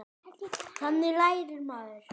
Þannig lærir maður.